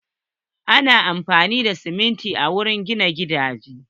Ana amfani da sumunti wajen gina gidaje.